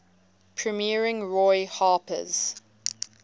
premiering roy harper's